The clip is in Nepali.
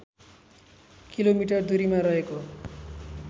किलोमिटर दुरीमा रहेको